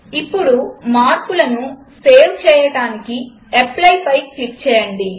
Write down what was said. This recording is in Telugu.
ఇప్పుడు మార్పులను సేవ్ చేయడానికి Applyపై క్లిక్ చేయండి